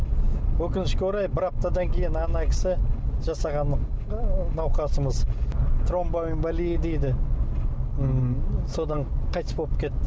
өкінішке орай бір аптадан кейін ана кісі жасаған науқасымыз тромбоэмболия дейді м содан қайтыс болып кетті